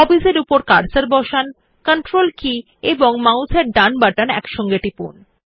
হবিস এর উপর কার্সার বসান কন্ট্রোল কী এবং মাউস এর ডান বাটন একসাথে টিপুন